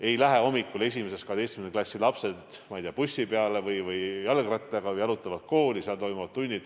Ei lähe hommikul 1.–12. klassi lapsed, ma ei tea, bussi peale või jalgrattaga või jalutades kooli, kus toimuvad tunnid.